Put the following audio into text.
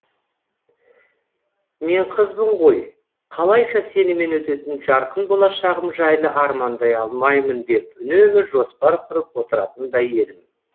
мен қызбын ғой қалайша сенімен өтетін жарқын болашағым жайлы армандай алмаймын деп үнемі жоспар құрып отыратындай едім